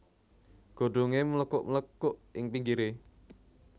Godhongé mlekuk mlekuk ing pinggiré